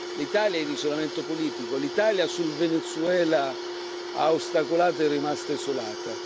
L'Italia è in isolamento politico, l'Italia sul Venezuela ha ostacolato ed è rimasta isolata.